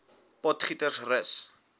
potgietersrus